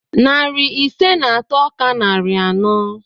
Narị ise na atọ ka narị anọ.